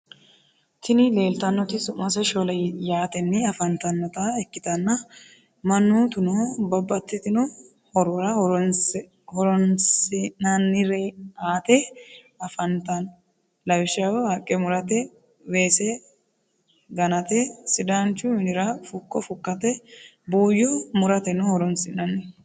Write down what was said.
tini lelitanoti su'mase shole yateni afanitanota ikitana manotuno babatitino horora horinsinanireate afanitano lawishsho; haqqe murte, wese ganate, sidanchu minira fuko fukate buyo murateno horonisinani.